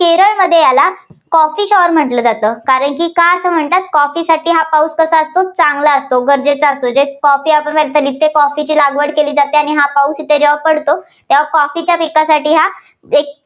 केरळमध्ये याला coffee shower म्हटलं जातं. कारण की का असं म्हणतात coffee साठी हा पाऊस कसा असतो चांगला असतो, गरजेचा असतो. coffee ची लागवड केली जाते आणि हा पाऊस तिथे जेव्हा पडतो त्या coffee च्या पिकासाठी हा एक